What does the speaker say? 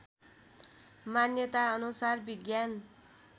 मान्यता अनुसार विज्ञान